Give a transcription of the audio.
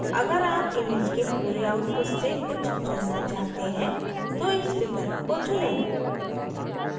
अगर आप image के पूरे output से कुछ चुनना चाहते हैं तो इस विकल्प को चुनें